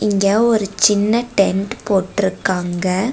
இங்க ஒரு சின்ன டென்ட் போட்டுருக்காங்க.